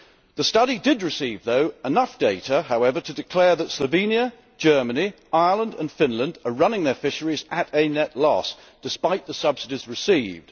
The study did receive enough data, however, to declare that Slovenia, Germany, Ireland and Finland are running their fisheries at a net loss despite the subsidies received.